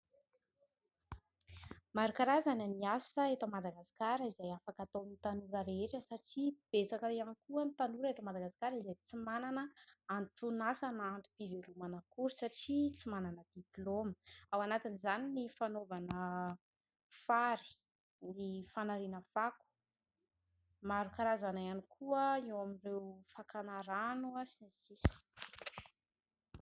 Maro karazana ny asa eto Madagasikara, izay afaka ataon'ny tanora rehetra. Satria betsaka ihany koa ny tanora eto Madagasikara, izay tsy manana anton'asa na antom-pivelomana akory, satria tsy manana diploma. Ao anatin'izany ny fanaovana fary, ny fanariana fako ; maro karazana ihany koa ny eo amin'ireo fakana rano sy ny sisa...